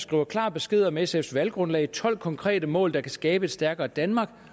gav klar besked om sfs valggrundlag nemlig tolv konkrete mål der kunne skabe et stærkere danmark